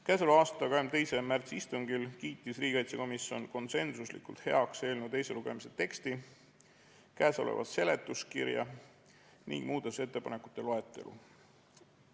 Käesoleva aasta 22. märtsi istungil kiitis riigikaitsekomisjon konsensuslikult heaks eelnõu teise lugemise teksti, seletuskirja ning muudatusettepanekute loetelu.